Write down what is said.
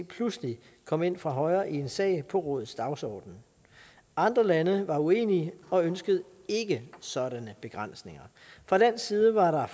pludselig kom ind fra højre i en sag på rådets dagsorden andre lande var uenige og ønskede ikke sådanne begrænsninger fra dansk side var